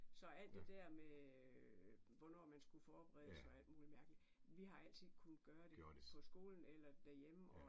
Så alt det der med hvornår man skulle forberede sig og alt mulig mærkeligt vi har altid kunne gøre det på skolen eller derhjemme og